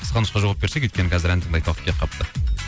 қысқа нүсқа жауап берсек өйткені қазір ән тыңдайтын уақыт келіп қалыпты